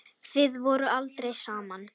Þið voruð aldrei saman.